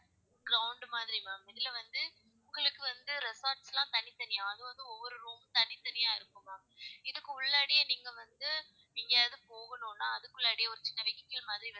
ground மாதிரி ma'am இதுல வந்து உங்களுக்கு வந்து resort லா தனி தனி அது வந்து ஒவ்வொரு room மும் தனிதனியா இருக்கும் ma'am இதுக்கு உள்ளாடியே நீங்க வந்து எங்கயாவது போகணும்னா அதுக்குல்லாடியே ஒரு சின்ன vehicle மாதிரி